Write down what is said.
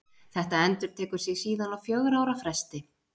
Þetta endurtekur sig síðan á fjögurra ára fresti.